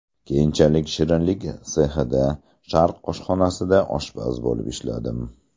Keyinchalik shirinlik sexida, Sharq oshxonasida oshpaz bo‘lib ishladim.